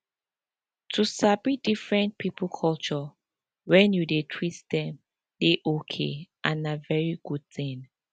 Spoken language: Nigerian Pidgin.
to sabi different people culture when you dey treat them dey okay and na very good thing